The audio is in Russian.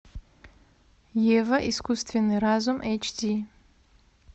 ева искусственный разум эйч ди